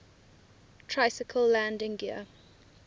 tricycle landing gear